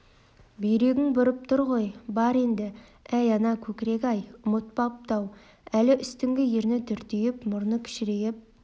бүйрегің бұрып тұр ғой бар енді әй ана көкірек-ай ұмытпапты-ау әлі үстіңгі ерні дүрдиіп мұрны кішірейіп